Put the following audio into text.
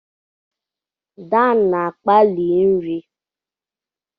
Dan na-akpali nri.